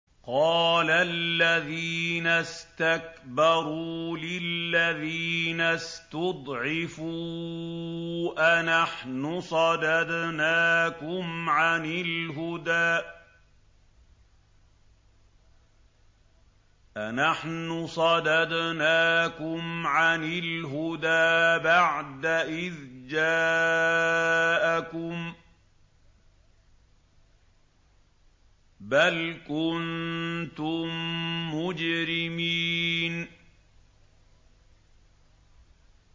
قَالَ الَّذِينَ اسْتَكْبَرُوا لِلَّذِينَ اسْتُضْعِفُوا أَنَحْنُ صَدَدْنَاكُمْ عَنِ الْهُدَىٰ بَعْدَ إِذْ جَاءَكُم ۖ بَلْ كُنتُم مُّجْرِمِينَ